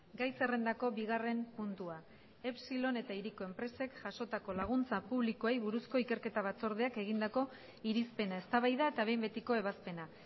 gai zerrendako bigarren puntua epsilon eta hiriko enpresek jasotako laguntza publikoei buruzko ikerketa batzordeak egindako irizpena eztabaida eta behin betiko ebazpena